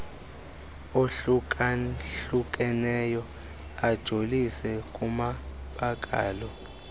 ohlukahlukeneyo ajolise kumabakala